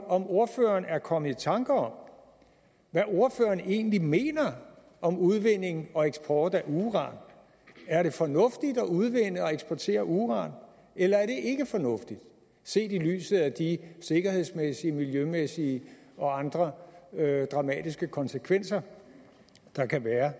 om ordføreren er kommet i tanke om hvad ordføreren egentlig mener om udvinding og eksport af uran er det fornuftigt at udvinde og eksportere uran eller er det ikke fornuftigt set i lyset af de sikkerhedsmæssige miljømæssige og andre dramatiske konsekvenser der kan være